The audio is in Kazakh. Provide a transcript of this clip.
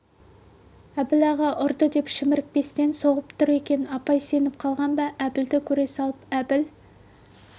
әбіл аға ұрды деп шімірікпестен соғып тұр екен апай сеніп қалған ба әбілді көре салып әбіл